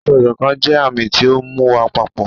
ásọ̀-ìsokán jẹ àmì ti ọ mú wá papọ